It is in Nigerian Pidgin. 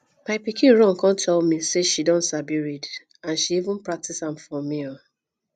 my pikin run come tell me say she don sabi read and she even practice am for me um